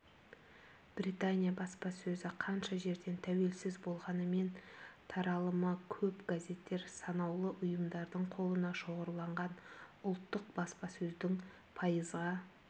британия баспасөзі қанша жерден тәуелсіз болғанымен таралымы көп газеттер санаулы ұйымдардың қолына шоғырланған ұлттық баспасөздің пайызға